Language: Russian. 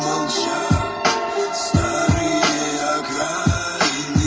сильных